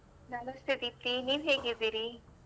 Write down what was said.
ನಮಸ್ತೆ ದೀಪ್ತಿ ನೀವ್ ಹೇಗಿದ್ದೀರಿ?